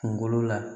Kunkolo la